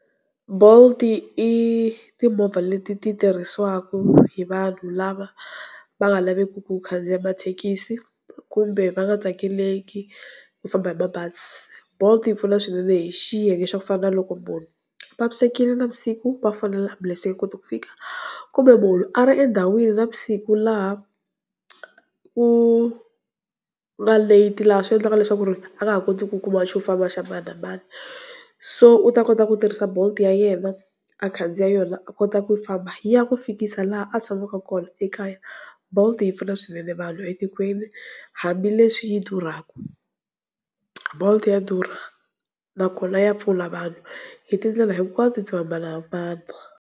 Bolt i timovha leti ti tirhisiwaka hi vanhu lava va nga laveki ku khandziya mathekisi, kumbe va nga tsakeleki ku famba hi mabazi. Bolt yi pfuna swinene hi xiyenge xa ku fana na loko munhu a vavisekile navusiku va fonela ambulense yi nga koti ku fika. Kumbe munhu a ri endhawini navusiku laha ku nga late laha swi endlaka leswaku ri a nga ha koti ku kuma xofamba xa mani na mani, so u ta kota ku tirhisa Bolt ya yena a khandziya yona a kota ku famba yi ya ku fikisa laha a tshamaka kona ekaya. Bolt yi pfuna swinene vanhu etikweni hambileswi yi durhaka, bolt ya durha nakona ya pfuna vanhu hi tindlela hinkwato to hambanahambana.